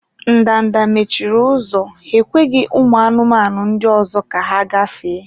Ndanda mechiri ụzọ, ha ekweghị ụmụ anụmanụ ndị ọzọ ka ha gafee.